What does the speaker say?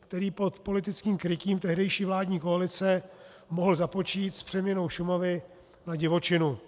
který pod politickým krytím tehdejší vládní koalice mohl započít s přeměnou Šumavy na divočinu.